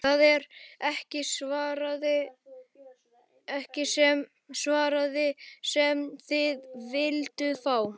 Það er ekki svarið sem þið vilduð fá.